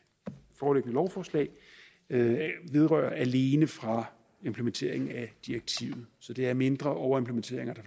foreliggende lovforslag hidrører alene fra implementeringen af direktivet så det er mindre overimplementeringer